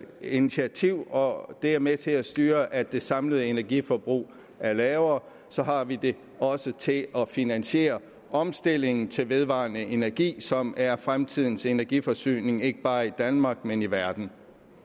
initiativ og det er med til at styre at det samlede energiforbrug er lavere og så har vi det også til at finansiere omstillingen til vedvarende energi som er fremtidens energiforsyning ikke bare i danmark men i verden